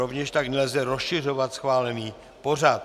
Rovněž tak nelze rozšiřovat schválený pořad.